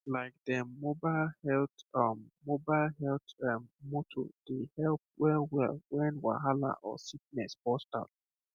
like dem mobile health um mobile health um motor dey help wellwell when wahala or sickness burst out